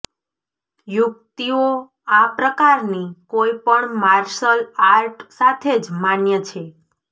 યુકિતઓ આ પ્રકારની કોઈપણ માર્શલ આર્ટ સાથે જ માન્ય છે